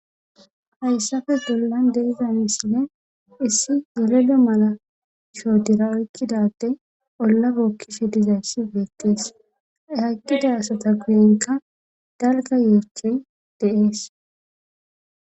hayssafe gollan deiza misine issi yeledo mala shoodira oykkidade ollabookkishe dizayssi beettees haykkida asata guyenka dalga yoechey deees